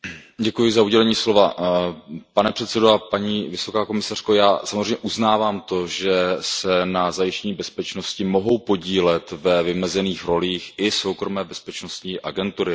Pane předsedající, já samozřejmě uznávám to, že se na zajištění bezpečnosti mohou podílet ve vymezených rolích i soukromé bezpečnostní agentury, respektive soukromé bezpečnostní služby.